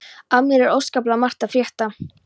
Af mér er óskaplega margt að frétta.